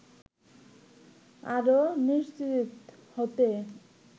আরও নিশ্চিত হতে